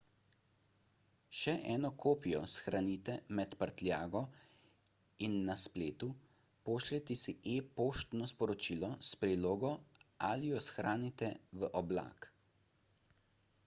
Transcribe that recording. še eno kopijo shranite med prtljago in na spletu pošljite si e-poštno sporočilo s prilogo ali jo shranite v oblak"